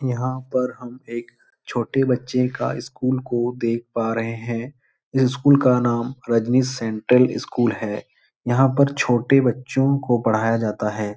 यहाँ पर हम एक छोटे बच्चे का स्कूल को देख पा रहें हैं। इस स्कूल का नाम रजनी सेंट्रल स्कूल है। यहाँ पर छोटे बच्चों को पढ़ाया जाता है।